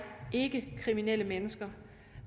ikke kriminelle mennesker